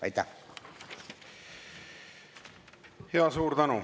Aitäh!